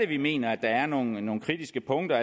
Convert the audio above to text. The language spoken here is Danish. vi mener at der er nogle nogle kritiske punkter